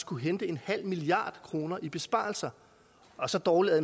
kunne hente en halv milliard kroner i besparelser og så dårligt